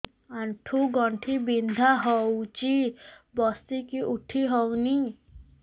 ଆଣ୍ଠୁ ଗଣ୍ଠି ବିନ୍ଧା ହଉଚି ବସିକି ଉଠି ହଉନି